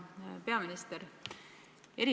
Hea peaminister!